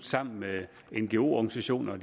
sammen med ngo organisationer